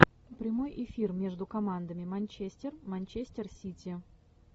прямой эфир между командами манчестер манчестер сити